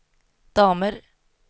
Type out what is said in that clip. damer